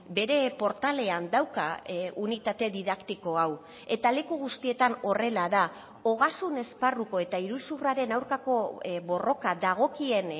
bere portalean dauka unitate didaktiko hau eta leku guztietan horrela da ogasun esparruko eta iruzurraren aurkako borroka dagokien